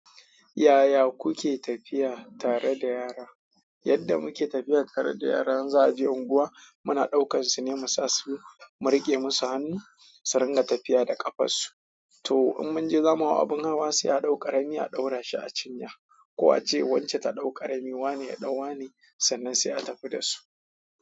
Yaya kuke tafiya tare da yara? Yadda muke tafiya tare da yara in za a je unguwa, muna ɗaukar su ne mu sa su, mu riƙe musu hannu su ringa tafiya da ƙafarsu. To in mun ji zamu hau abin hawa sai a ɗau ƙarami a ɗaura shi a cinya, ko a ce wacce ta ɗau ƙarami wane ya ɗau wa ne sannan sai a tafi da su.